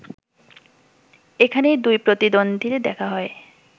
এখানেই দুই প্রতিদ্বন্দীর দেখা হয়